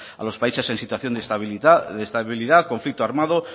a los países en situación de estabilidad conflicto armado